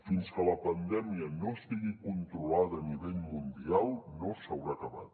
fins que la pandèmia no estigui controlada a nivell mundial no s’haurà acabat